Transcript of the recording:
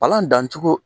Palan dancogo